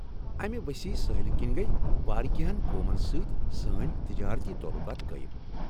امہ وسیع سٲحِلہٕ كِنۍ گٔیہ واریہن قومن سۭتۍ سٲنۍ تجٲرتی تعلُقات قٲیم ۔